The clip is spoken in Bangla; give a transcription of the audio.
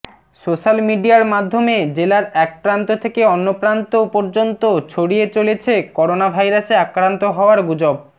সোশ্যাল মিডিয়ার মাধ্যমে জেলার একপ্রান্ত থেকে অন্যপ্রান্ত পর্যন্ত ছড়িয়ে চলেছে করোনা ভাইরাসে আক্রান্ত হওয়ার গুজব